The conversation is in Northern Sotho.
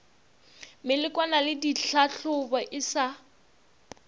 melekwana le ditlhahlobo e sa